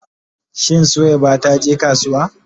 Shin Suwaiba ta je kasuwa?